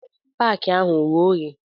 Paki ahụ oghe oghe?